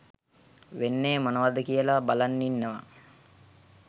වෙන්නේ මොනවද කියලා බලන් ඉන්නවා